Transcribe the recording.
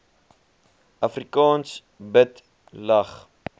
afrikaans bid lag